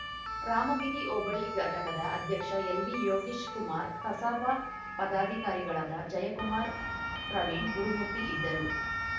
ರಾಮಗಿರಿ ಹೋಬಳಿ ಘಟಕದ ಅಧ್ಯಕ್ಷ ಎಲ್‌ವಿಯೋಗೀಶ್‌ ಕುಮಾರ್‌ ಕಸಾಪ ಪದಾಧಿಕಾರಿಗಳಾದ ಜಯಕುಮಾರ್‌ ಪ್ರವೀಣ್‌ ಗುರುಮೂರ್ತಿ ಇದ್ದರು